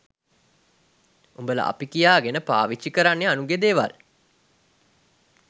උඹල අපි කියගෙන පවිච්ච් කරන්නේ අනුන්ගෙ දෙවල්